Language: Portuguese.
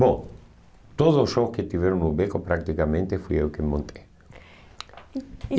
Bom, todos os shows que tiveram no Beco, praticamente, fui eu que montei. E e